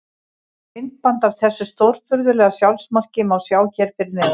Myndband af þessu stórfurðulega sjálfsmarki má sjá hér fyrir neðan.